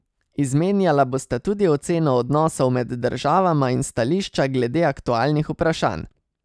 Izmenjala bosta tudi oceno odnosov med državama in stališča glede aktualnih vprašanj.